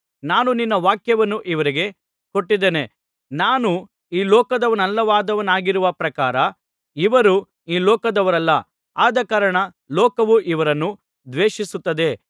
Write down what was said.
ನಾನು ನಿನ್ನ ವಾಕ್ಯವನ್ನು ಇವರಿಗೆ ಕೊಟ್ಟಿದ್ದೇನೆ ನಾನು ಈ ಲೋಕದವನಲ್ಲದವನಾಗಿರುವ ಪ್ರಕಾರ ಇವರೂ ಈ ಲೋಕದವರಲ್ಲ ಆದಕಾರಣ ಲೋಕವು ಇವರನ್ನು ದ್ವೇಷಿಸುತ್ತದೆ